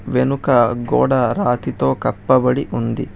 వెనుక గోడ రాతితో కప్పబడి ఉంది